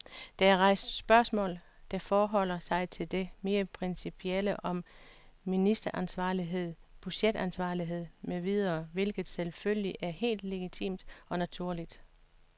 Der er rejst spørgsmål, der forholder sig til det mere principielle om ministeransvarlighed, budgetansvarlighed med videre, hvilket selvfølgelig er helt legitimt og naturligt.